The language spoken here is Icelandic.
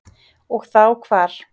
Og þá hvar.